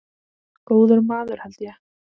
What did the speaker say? Góður maður held ég.